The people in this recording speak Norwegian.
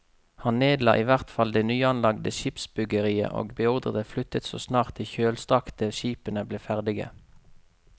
Han nedla i hvert fall det nyanlagte skipsbyggeriet og beordret det flyttet så snart de kjølstrakte skipene ble ferdige.